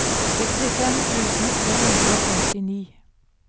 sekstifem tusen tre hundre og femtini